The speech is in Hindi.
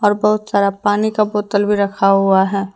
और बहुत सारा पानी का बोतल भी रखा हुआ है।